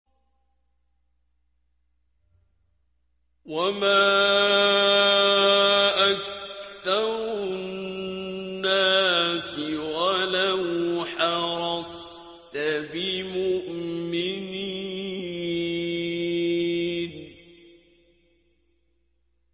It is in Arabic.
وَمَا أَكْثَرُ النَّاسِ وَلَوْ حَرَصْتَ بِمُؤْمِنِينَ